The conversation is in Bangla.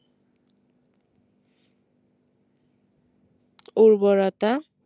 উর্বরতা